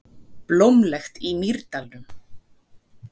Blómlegt í Mýrdalnum